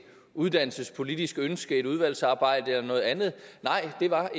uddannelsespolitisk ønske et udvalgsarbejde eller noget andet nej det var